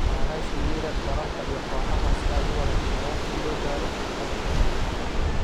naanays u yeedha dalalka iyo kooxaha si ay u wada shaqeeyaan si loo gaaro hadaf guud.